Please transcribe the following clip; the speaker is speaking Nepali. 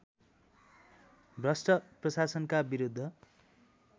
भ्रष्ट प्रशासनका विरुद्ध